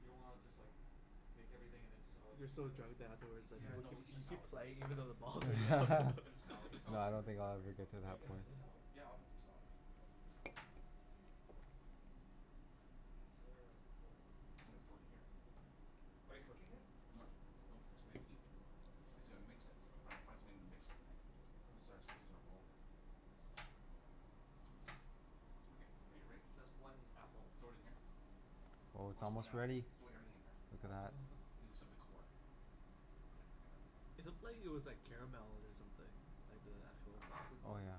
You don't wanna just like make everything and then just all eat You're so together? drunk that afterwards like Yeah people no, keep, eat the you keep salad first, playing even though the and then balls the. all go Finish the salad, the No, salad will I be don't really think quick I'll right ever so. get to Are you that gonna point. eat the salad? Yeah, I'll have some salad. Okay. Is there a bowl? I'm gonna throw it in here. Okay. Are you cooking it? Nope, nope, it's ready to eat. I said I'll mix it. Gotta fi- fi- find something to mix it right. This is ours, this is our bowl here. Okay. Are you ready? So that's one apple. Throw it in here. Oh Oh it's so one almost apple one? ready. Throw everything in here. Look at All. that. Oh except the core. Yeah. I got it. It looked like it was like caramel or something. Like the actual sauce and stuff. Oh yeah.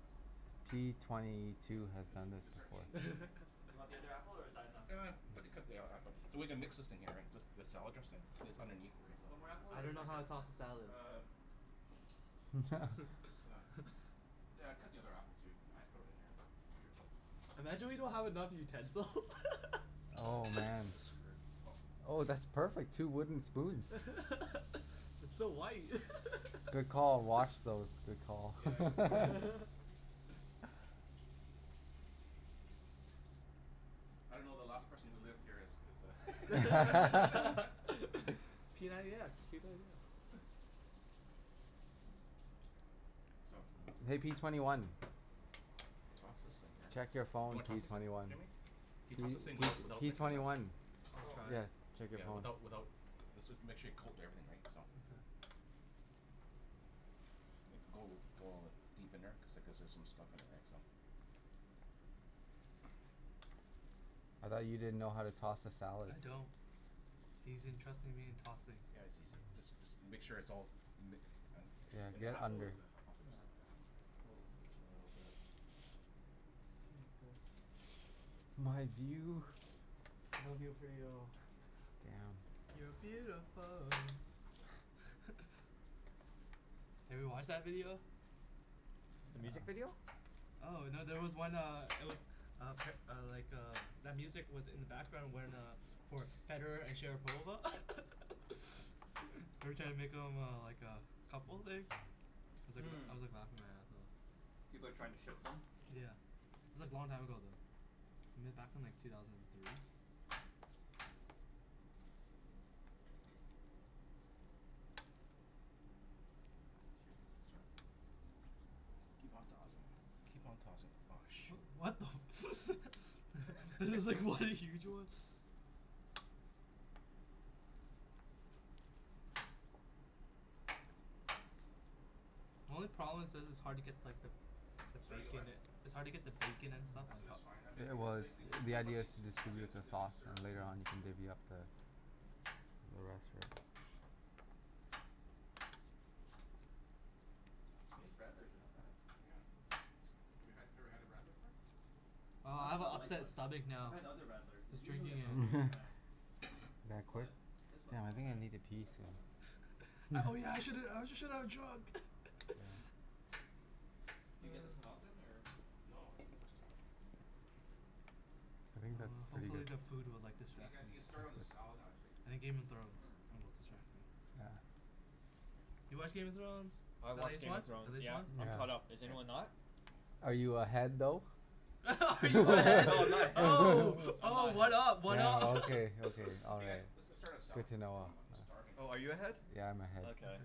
That's good. P twenty Yep. two has We done we this can start eating before. this in here. Do you want the other apple or is that enough? Ah, put the, cut the other app- so we're gonna mix this thing here right, just, just the salad dressing that's underneath it, right so. One more apple I or is don't know that how good? to toss the salad. Uh, just, just uh, yeah cut the other apple too, we can throw it in here. Imagine we don't have enough utensils. Oh man. That's screwed. Oh, that's perfect. Two wooden spoons. It's so white. Good call. Wash those. Good call. Yeah, I gotta wash. I don't know, the last person who lived here is is a p ninety x, p ninety x. So Hey, P twenty one. Toss this thing here. Check your You phone, wanna P toss this thing? twenty one. Jimmy, can you P P toss this thing without without P making a twenty mess? one. I'll Oh. try. Yeah. Without without, this was, make sure you coat everything right, so. Like go go deep in there cuz like there's some stuff in there, right? So. I thought you didn't know how to toss a salad. I don't. He's entrusting me in tossing. Yeah, it's easy. Just just make sure it's all ma- , and Yeah. and the Get apple is under. a, I'll fix, yeah My view. No view for you. Damn. You're beautiful. Have you watched that video? The music video? Oh no. There was one uh, it was uh uh, like uh, that music was in the background when uh, for Federer and Sharapova they're trying to make them uh like uh couple like, I Hmm. was like laughing my ass off. People are trying to shit them? Yeah. It was like long time ago though. I mean back in like two thousand and three. Excuse me. Sorry. Keep on tossing. Keep on tossing. Whoa, shoot. What the I was like, what are you doing? The only problem is that it's hard to get like the the It's hard to get bacon what? a- it's hard to get the bacon and stuff. I said it's fine. I mean It it was. The idea is to distribute the sauce served. and later on you can divvy up the the rest of it. These radlers are not bad. Yeah. It's like, we had, you've never had a radler before? Oh, Not I the have a Bud Light upset one. stomach I've now. had other I radlers and was usually drinking I'm not it. really a fan. You gonna quit? But this one Damn, is I not think I bad. need to pee I like this soon. one. Oh yeah. I shouldn't, I shouldn't have drunk. Do you get this one often or? No, first time. I think that's Uh pretty good. hopefully, the food will You guys, you like can start distract on the me. salad I actually. think Game of Thrones will distract me. Yeah. You watch Game of Thrones? I The watch latest Game one? of The Thrones. latest Yeah. one? I'm caught up. Is anyone Here. not? Are you ahead though? Are you Oh ahead, no, I'm not ahead. oh, I'm not oh, ahead. what up, what Oh up? okay. Okay. All Hey guys, right. let's let's start with salad. Good to know. I'm I'm starving. Oh, are you ahead? Yeah, I'm ahead. Okay.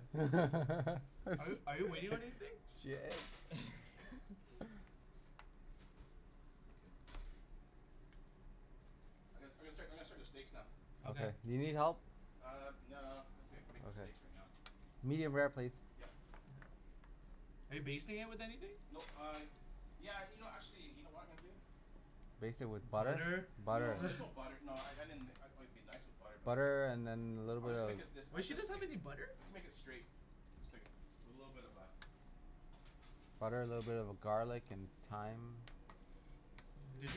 Are you are you waiting on anything? Shit. I'm gonna I'm gonna start I'm gonna start the steaks now. Okay. Do you need help? Uh, no, I'm just gonna, I'll make the steaks right now. Medium rare, please. Yep. Are you basting it with anything? Nope uh, yeah, you know actually, you know what I'm gonna do? Baste it with butter? Butter? No, there's no butter. No, I I mean like it it'd be nice with butter but Butter and then a little I'm bit just of gonna make it this uh Wait, she that's doesn't have make any butter? I'll just make it straight. It's like a little bit of a Butter, little bit of garlic and thyme. This.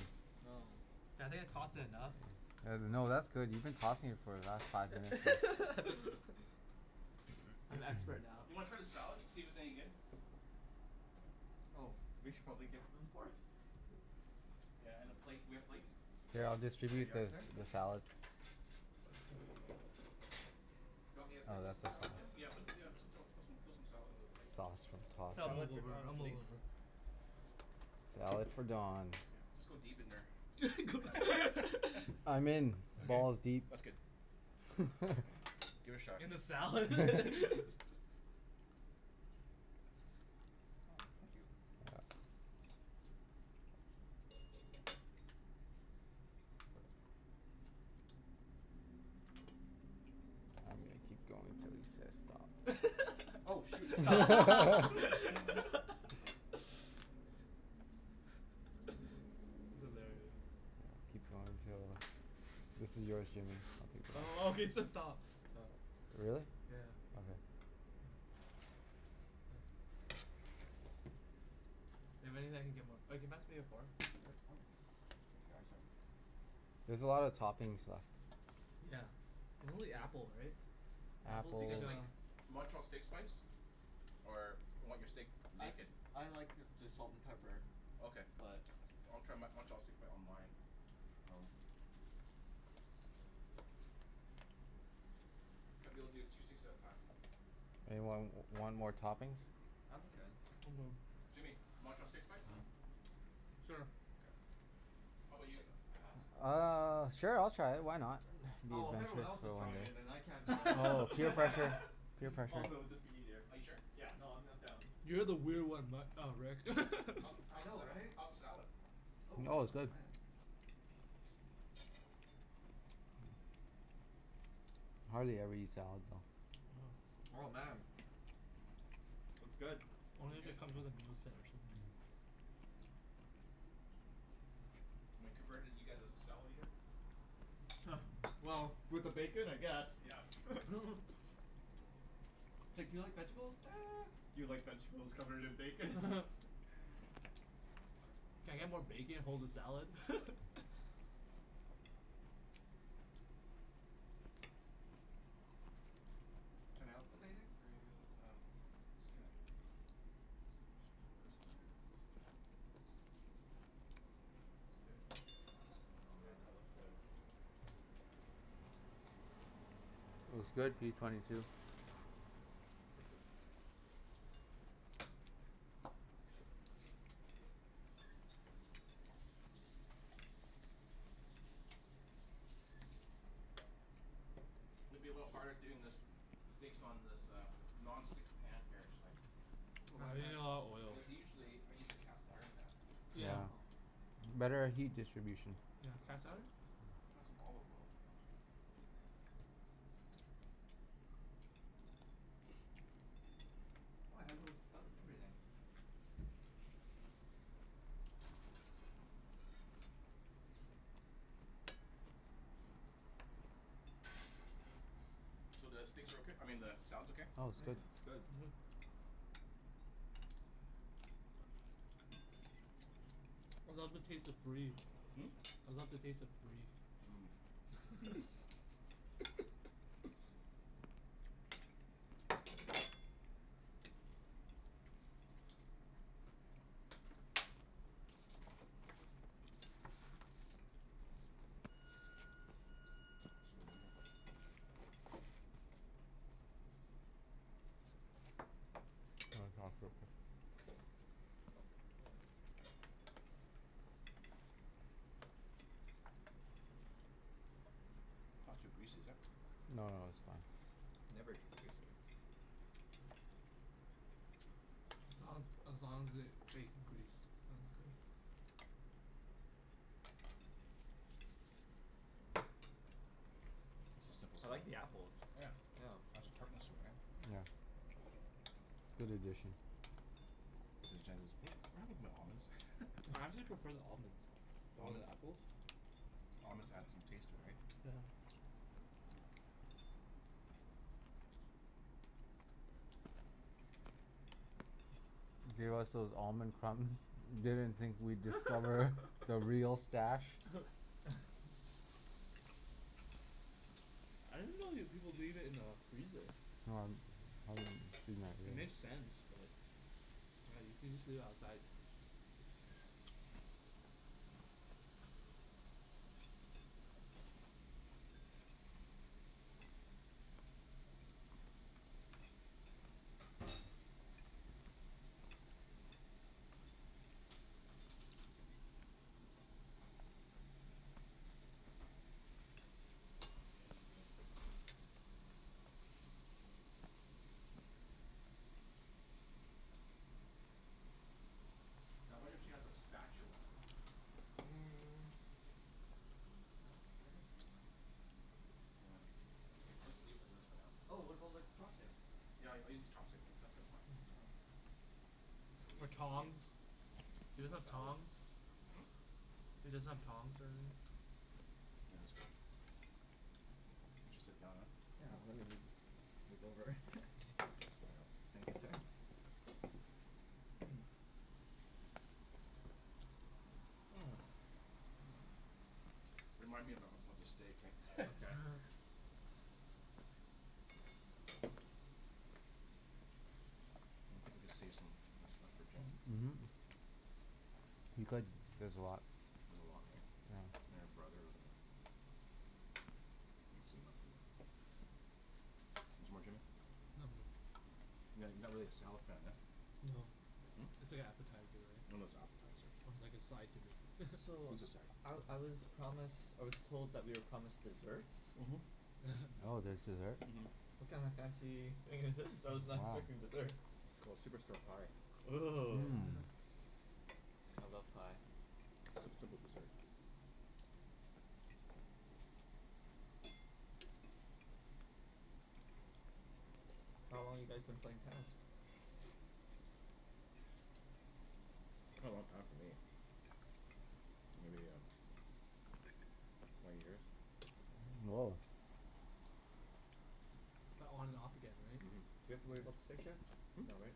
No. Yeah I think I tossed it enough. No no, that's good. You've been tossing it for the last five minutes so I'm expert Do now. you wanna try the salad to see if it's any good? Oh, we should probably give them forks. Yeah and a plate. Do we have plates? Here, I'll Here you distribute are, the sir. the salads. Do you want me to Oh, put you that's some the salad, Don? sauce. Yeah. Put, yeah, put some put some salad on the plate. Salt from tossed I'll salad. Salad move for over. I'll Donald move please. over. Salad for Don. Just go deep in there. I'm in. Okay. Balls deep. That's good. Give it a shot. In the salad? Oh, thank you. I'm gonna keep going until he says stop. Oh, shoot. That's Stop. hilarious. Keep going until. This is yours Jimmy. I'll Oh, he take that one. said stop. Really? Yeah. Okay. That means I can get more. Oh, can you pass me a fork? Oh, here you are, sir. There's a lot of toppings left. Yeah. And only apple, right? Do you Apples. guys like Montreal steak spice? Or you want your steak I naked? I like just salt and pepper. Okay. But I'll try Mon- Montreal steak on my. Oh. I'll be able to do two steaks at a time. Anyone w- want more toppings? I'm okay. I'm good. Jimmy, Montreal steak spice? Sure. K. How about you Alex? Uh, sure I'll try it, why not? Okay. Be Oh, if everyone adventurous else is for one trying day. it then I can't be left Oh, out. peer pressure. Peer pressure. Also, it'd be just easier. Are you sure? Yeah. No, I'm I'm down. You're the weird one, Matt, uh Rick. I How's the know, sa- right? how's the salad? Oh, I'm Oh, it's gonna good. try it. I hardly ever eat salad though. Uh huh. Oh, man. It's good. Is it Only if good? it comes with a moose head or something. Am I converted you guys as a salad eater? Well, with the bacon I guess. Yeah. It's like, do you like vegetables? Do you like vegetables covered in bacon? Can I get more bacon, hold the salad? Can I help with anything or are you Um, It's good. I'll put this on here. It's good. Oh man, that looks good. That's good, P twenty two. Okay. It's gonna be a little bit harder doing this, steaks on this uh non-stick pan here actually. Oh, why Ah, is you that? need a lot of oils. Because usually I use a cast iron pan. Yeah. Oh. Better at heat distribution. You have And cast so, iron? I'll find some olive oil. Oh, it has a little spout and everything. So, the steaks are okay? I mean the salad's okay? Oh, it's good. Mmm, it's good. I love the taste of free. Hmm? I love the taste of free. Hmm. It's over here. It's not too greasy, is it? No, no, it's fine. Never too greasy. As long as as long as there's bacon grease, I'm good. This is simple I salad. like the apples. Yeah. Yeah. It has a tartness all right. Yeah. It's good addition. So Jen goes, "What happened to my almonds?" I actually prefer the almonds over the apple. Almonds add some taste to it, right? Yeah. Gave us those almond crumbs. Didn't think we'd discover the real stash. I didn't know you people leave it in the freezer. It makes sense but Right, you could just leave it outside. Now I wonder if she has a spatula. Yeah. eat this for now. Oh, what about like chopsticks? Yeah, I I use the chopsticks. Then So Or leave it, here. tongs? You Eat guys my use salad. tongs? Hm? You just have tongs Yeah, that's okay. I'll just sit down now. Yeah. Let me move, move over. There you go. Thank you, sir. Remind me ab- of of the steak eh. Okay. I think we can save some stuff for Jen. Mhm. You could. There's a lot. There's a lot, right? And your brother. Want some more, Jimmy? No, I'm good. No? You're not you're not really a salad fan, huh? No. It's like appetizer, It's right? an appetizer. It's like a side to me. So It's a side. I I was promised, I was told that we are promised desserts? Mhm. Oh, there's dessert? Mhm. What kind of fancy thing is this? freaking dessert. It's called Superstore pie. Ooh. Mmm. I love pie. Simp- simple dessert. So, how long you guys been playing tennis? A long time for me. Maybe, uh, twenty years. Oh. But on and off again, right? Mhm. Do we have to worry about the steak yet? Hmm? No, right?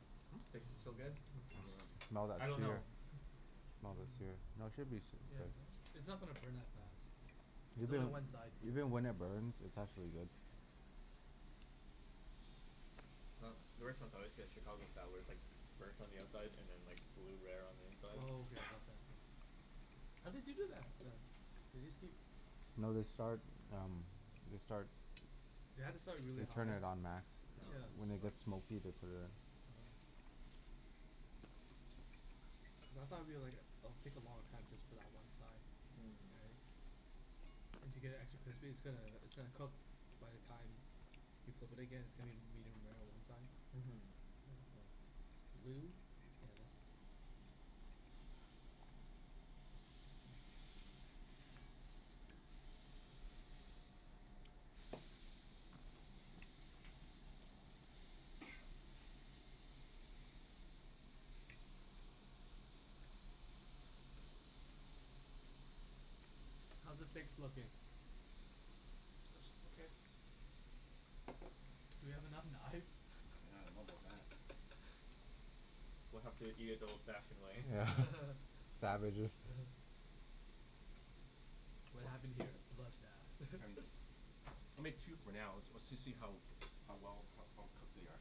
Steaks Hmm? are still good. Smell that I don't know. sear. Smell the sear. No, it should be It's not gonna burn that fast. There's only Even one side too. even when it burns, it's actually good. Uh the restaurants I always get a Chicago sour, it's like burnt on the outside and then like blue rare on the inside. Oh yeah, I love that thing. How do they do that then? They just keep No. They start um, they start You have to start really They hot. turn it on max. Yeah. When they get smoky, they put it in. Oh. Cuz I thought it'll be like it'll take a long time just for that one side. Right? Mmm. And to get it actually crispy, it's gonna it's gonna cook by the time you flip it again, it's gonna be medium rare on one side. Mhm. Blue? Yes. How's the steaks looking? It's okay. Do we have enough knives? Yeah, I don't know about that. We'll have to eat it the old fashioned way. Yeah. Savages. What happened here? Bloodbath. I mean, I made two for now. Let's let's see how how well, how cooked they are.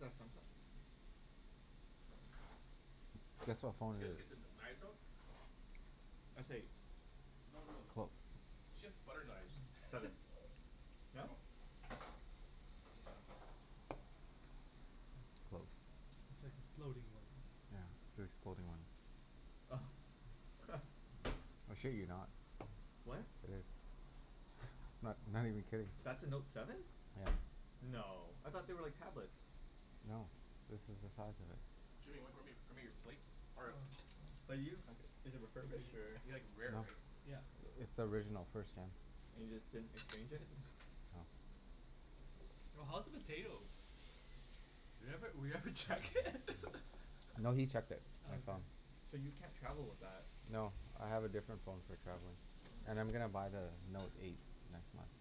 Is that Samsung? Guess what phone You it guys is. get the kn- knives out? That's right. She has butter knives. Seven. No? Close. It's like the exploding one. Yeah, it's the exploding one. Oh. I shit you not. What? It is. I'm not not even kidding. That's a Note seven? Yeah. No. I thought they were like tablets? No. This is the size of it. Jimmy, w- grab me grab me your plate. Oh, 'bout you? It is refurbished or? You like it rare, right? Yeah. It's the original. First gen. And you just didn't exchange it? No. Oh, how's the potatoes? We haven't, we haven't checked it. I know he checked it. I Oh. saw him. So you can't travel with that? No. I have a different phone for traveling and I'm gonna buy the Note eight next month.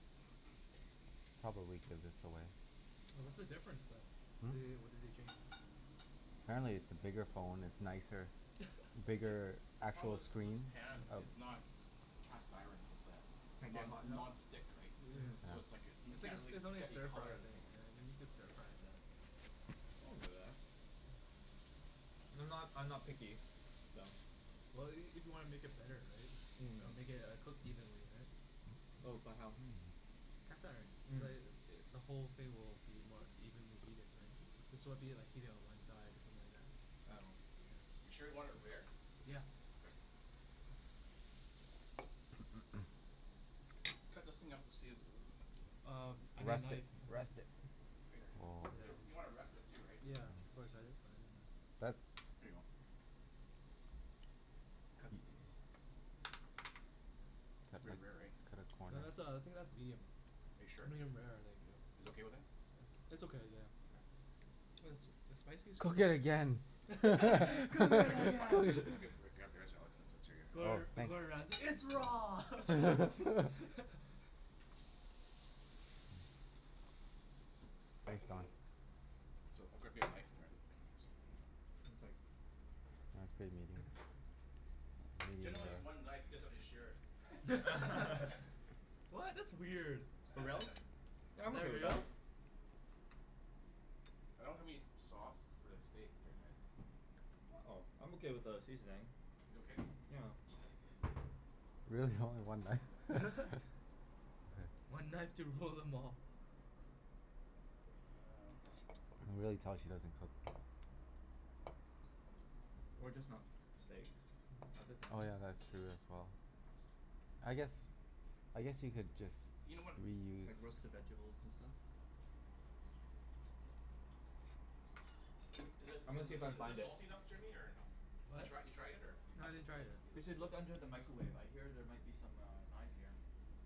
Probably give this away. Oh, what's the difference then? They, Hmm? what did they change? Apparently, it's a bigger phone. It's nicer, bigger See, the problem actual was was screen. the pan. It's not cast iron. It's uh Can't get non- hot enough? non-stick, right? So it's like, m- It's like can't a, get really it's only a get any stir-fry color of the thing thing. rare. Yeah I think you can stir-fry in that. I'm not I'm not picky, so Well, i- if you wanna make it better, right? I'll make it. It'll cook evenly, right? Oh but how? Cast iron. It's like, the whole thing will be more evenly heated, right? This won't be like heated on one side You sure you want it rare? Yeah. Okay. Cut those thing up to see if Um, I need a Rest knife. it. Rest it. You w- you want to rest it too, right? Yeah, That's Here you go. Cut It's pretty rare, right? No. That's uh, I think that's medium. Are you sure? Medium rare, I think, yeah. You guys okay with that? It's okay, yeah. Okay. Was the spiciest Cook it again. Cook it again. I'll get, grab yours Alex, since since you're Oh, Gor- thanks. Gordon Ramsay. It's raw! Thanks Don. So, I'll grab me a knife. One sec. Mine's pretty medium. Jen only has one knife you guys have to share it. What? That's weird. For Is real? Yeah, I'm okay that with that. real? I don't have any sauce for the steak here guys. Oh, I'm okay without a seasoning. You okay? Yeah. Okay. Really, only one knife? Okay. One knife to rule them all. Um You can really tell she doesn't cook. Or just not steaks. Other Mm. Oh things. yeah, that's true as well. I guess, I guess you could just You know what, oh Like reuse hang roasted on. vegables and stuff. This'll be good. L- is it I'm in gonna see th- if I can is this find it. salty enough Jimmy, or no? You What? try you try it yet, or No, I didn't try it We yet. should look under the micawave. I hear there might be some uh knives here.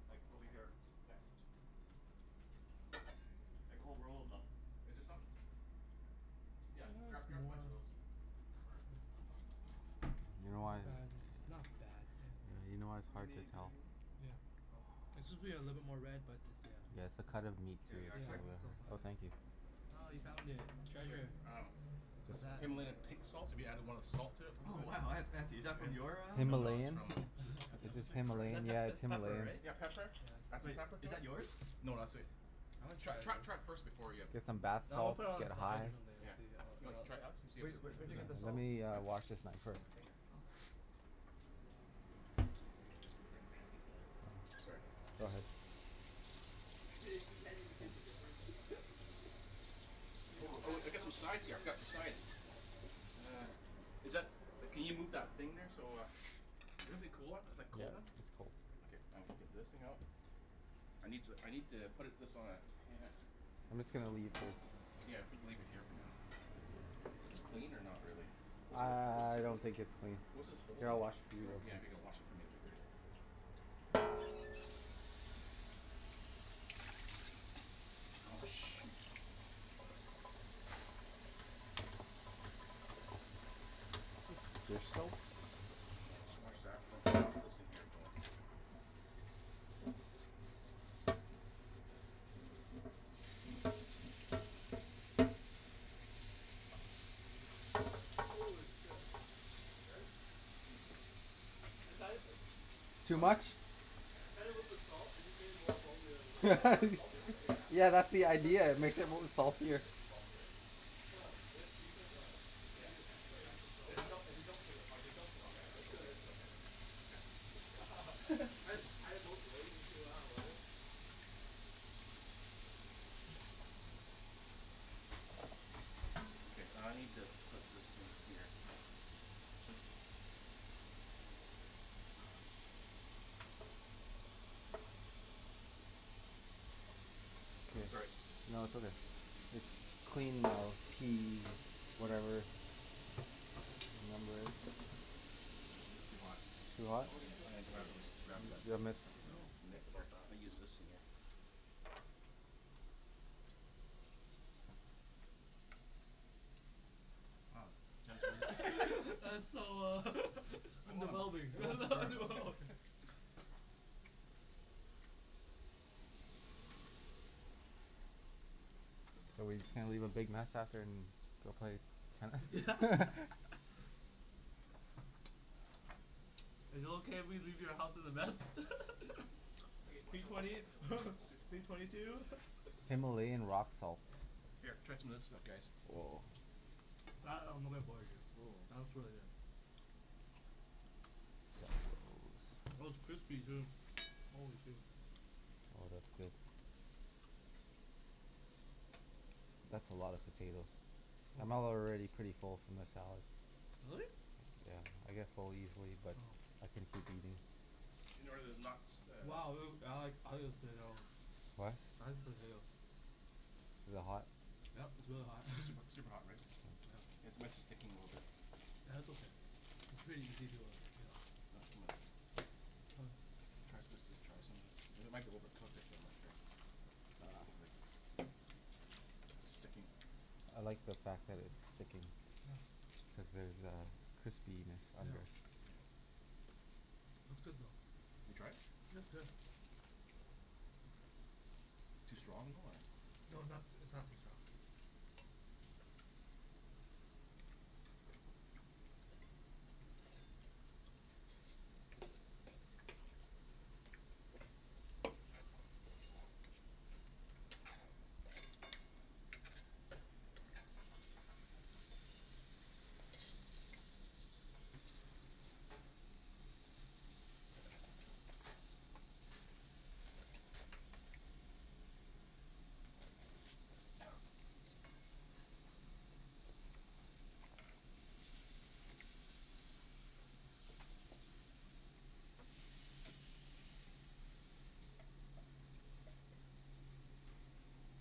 Like, over Okay. here. Yeah. Oh, where is she? Like a whole roll of them. Is there some? Yeah, That's grab grab a more bunch of those. Or You know It's why not bad. It's not bad. Yeah. Yeah, you know why it's How hard to many do we tell. ne- Yeah. oh, okay. One It more? should be a little bit more red, but it's, Yeah, yeah. it's the cut of meat too, There you are, It's, yeah. so sir. yeah. Oh, thank It's you. Oh, you found it. Here, Treasure. um What's Just that? Himalaya pink salt, if you added want a salt to it a Oh little bit? wow, that's fancy. Is that from And, your ah no no, it's Himalayan. Himalayan? from Is this Is Himalayan? that Yeah, pep- it's it's pepper, Himalayan. right? Yeah, pepper. Yeah, it's Add some pepper. Wait. pepper Is to that it. yours? No, that's sweet. I wanna Tr- try this. tr- try it first before ya Get some bath No, I'm gonna salts, put it on the get side high. or something Yeah. to see how You it wanna all try it out? See if it Wh- wh- is is where'd is you it, get the Let salt? me huh? uh wash this knife, fir- Oh. It's like fancy salt. Sorry. Yeah. Go Go ahead. ahead. Imagine if she can't even taste the difference? It's like Oh oh w- oh man, wait, this I got stuff some is sides here. I really forgot the sides. Is that, can you move that thing there so uh This a cooler is like Yeah, cold then? it's cold. Okay, I'm gonna get this thing out I need to I need to put it this on a pan I'm just gonna leave this Yeah, we can leave it here for now. This clean, or not really? I What's a what I I don't what's think it's clean. What is it Here, holding? I'll wash it for you. Oh yeah, I think I wash it from you Oh, shoot. Is this dish soap? Unless you wash that and I Shh. get this thing here going. Holy shit. Is it good? I'd had it uh Too Huh? much? I tried it with the salt. It just made it more salty. I was like It's al- it's already salty r- right? Yeah. Yeah, that's the Cuz of idea. the It sea makes it salt. Is m- it is it saltier. is it too salty or No, if you put the if Yeah. you e- put It's extra salt, If it's we yeah. don't if we don't put it if we don't put it on there Yeah, it's it's good. okay It's it's go- okay, right? Okay. I just tried it both ways to see w- how it was. Okay, I need to put this in here. I'm gonna go like this. Here. Sorry. No, it's okay. It's clean now p whatever your number is. I think it's too hot. Too hot? Oh Yeah, there's still I'm gonna grab the potatoes. grab the The oven mitts. I I didn't even know. mitts think here. about that. I'll use this thing here. Oh, Oh. Jen's really That's so uh Come I'm on. A developing. little burn, no? So we just gonna leave a big mess after and go play Yeah. tennis? Is it okay if we leave your house as a mess? Okay, watch P out watch twenty out watch out watch out. Sneak behind P twenty two. Himalayan rock salts. Here, try some of this stuff guys. Woah. That I'm looking forward to. Ooh. That looks really good. Oh, it's crispy, too. Holy shoe. Oh, that's good. S- that's a lot of potatoes. I'm al- Oh. already pretty full from the salad. Really? Yeah, I get full easily but Oh. Oh. I can keep eating. You know where the knocks uh Wow, potato. What? Eyes potato. Is it hot? Yep, it's really hot. Is it super super hot, right? Mm. Yeah. Yeah. It's my sticking a little bit. Yeah, that's okay. It's pretty easy to uh g- get off. Not so mu- Oh. Try s- this this try some of this. It might be overcooked actually. I'm not sure. Ah. Like sticking. I like the fact that it's sticking. Oh. Cuz there's a crispiness under. Yep. Yeah. It's good though. You tried it? It's good. Too strong, though, or No, it's not s- it's not too strong.